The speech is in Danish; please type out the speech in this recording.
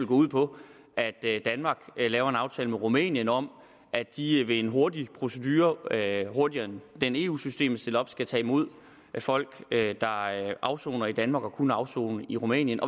ud på at danmark laver en aftale med rumænien om at de ved en hurtig procedure hurtigere end den eu systemet stiller op skal tage imod folk der afsoner i danmark og kunne afsone i rumænien